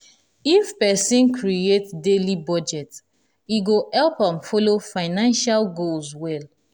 if person create daily budget e go help am follow financial goals well.